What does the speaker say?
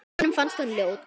Honum fannst hún ljót.